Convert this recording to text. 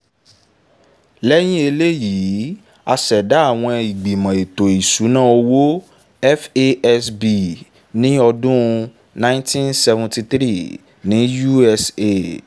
lẹ́yìn eléyìí a ṣẹ̀dá àwọn ìgbìmọ̀ ètò ìsúná owó (fasb) ní ọdún nineteen seventy three ní usa